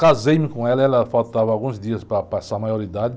Casei-me com ela, ela faltava alguns dias para passar a maioridade.